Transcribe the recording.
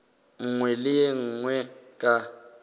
nngwe le ye nngwe ka